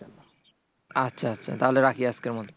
আচ্ছা আচ্ছা তাহলে রাখি আজকের মত?